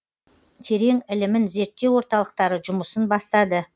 терең ілімін зерттеу орталықтары жұмысын бастады